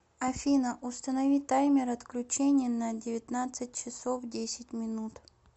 афина установи таймер отключения на девятнадцать часов десять минут